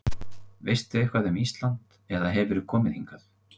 Veistu eitthvað um Ísland eða hefurðu komið hingað?